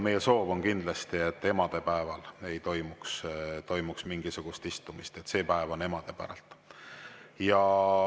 Meie soov on kindlasti, et emadepäeval ei toimuks mingisugust istumist, see päev on emade päralt.